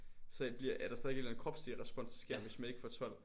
Så bliver er der stadig en eller anden kropslig respons der sker hvis man ikke får 12